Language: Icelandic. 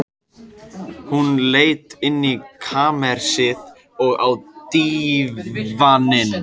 Hún leit inn í kamersið, og á dívaninn.